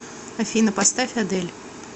афина поставь адель